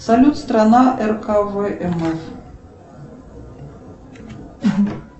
салют страна рквмф